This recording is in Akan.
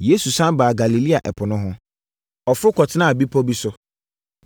Yesu sane baa Galilea ɛpo no ho. Ɔforo kɔtenaa bepɔ bi so.